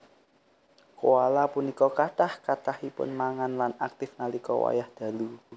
Koala punika kathah kathahipun mangan lan aktif nalika wayah dalu